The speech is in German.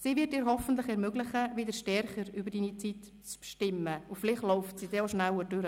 Sie wird dir hoffentlich ermöglichen, wieder stärker über deine Zeit zu bestimmen, und vielleicht läuft sie dann auch schneller.